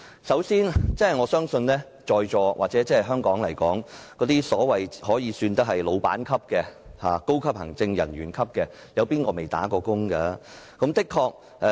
首先，我相信在座各位，或在香港算得上是僱主級別或高級行政人員級別的人士，誰沒做過"打工仔"呢？